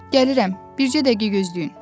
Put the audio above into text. Gəlirəm, bircə dəqiqə gözləyin.